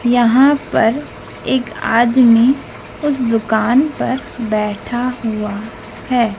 यहां पर एक आदमीं उस दुकान पर बैठा हुआ हैं।